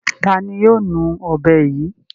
Ta ni yóò nu ọ̀bẹ yìí?